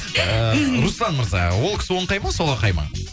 ы мхм руслан мырза ол кісі оңқай ма солақай ма